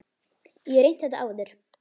Ég hef reynt þetta áður.